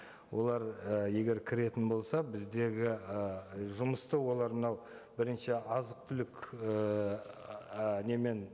олар і егер кіретін болса біздегі ы жұмысты олар мынау бірінші азық түлік ііі немен